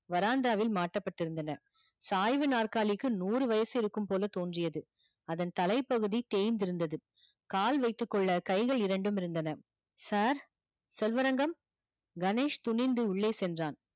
veranda வில் மாட்டப்பட்டிருந்தன சாய்வு நாற்காலிக்கு நூறு வயசு இருக்கும் போல தோன்றியது அதன் தலைப்பகுதி தேய்ந்திருந்தது கால் வைத்துக்கொள்ள கைகள் இரண்டும் இருந்தன sir செல்வரங்கம் கணேஷ் துணிந்து உள்ளே சென்றான்